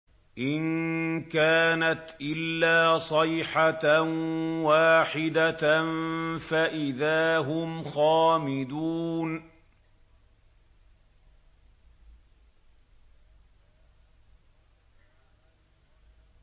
إِن كَانَتْ إِلَّا صَيْحَةً وَاحِدَةً فَإِذَا هُمْ خَامِدُونَ